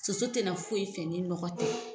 Soso tɛ na foyi fɛ ni nɔgɔ tɛ.